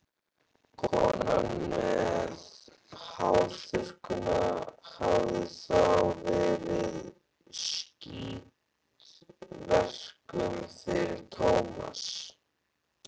Konan með hárþurrkuna hafði þá verið í skítverkum fyrir Tómas.